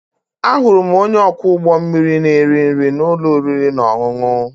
Ahụrụ m onye ọkwọ ụgbọ mmiri na-eri nri na ụlọ oriri na ọṅụṅụ.